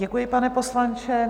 Děkuji, pane poslanče.